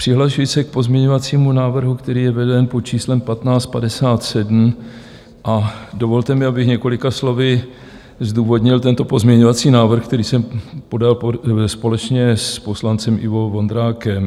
Přihlašuji se k pozměňovacímu návrhu, který je veden pod číslem 1557, a dovolte mi, abych několika slovy zdůvodnil tento pozměňovací návrh, který jsem podal společně s poslancem Ivo Vondrákem.